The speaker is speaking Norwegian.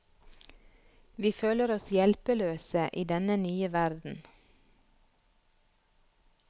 Vi føler oss hjelpeløse i denne nye verden.